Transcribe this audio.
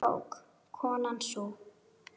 Hún var klók, konan sú.